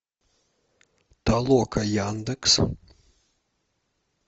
толока яндекс